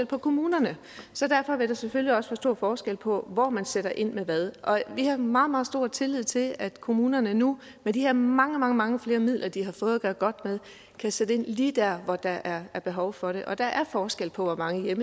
på kommunerne så derfor vil der selvfølgelig også være stor forskel på hvor man sætter ind med hvad vi har meget meget stor tillid til at kommunerne nu med de her mange mange mange flere midler de har fået at gøre godt med kan sætte ind lige der hvor der er behov for det der er forskel på hvor mange